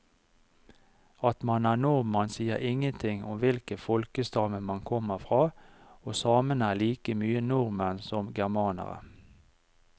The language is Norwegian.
At man er nordmann sier ingenting om hvilken folkestamme man kommer fra, og samene er like mye nordmenn som germanerne.